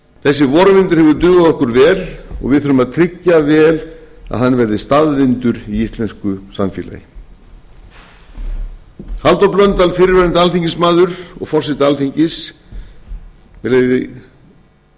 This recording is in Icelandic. þessi vorvindur hefur dugað okkur vel og við þurfum að tryggja vel að hann verði staðvindur í íslensku samfélagi halldór blöndal fyrrverandi alþingismaður og forseti alþingis með leyfi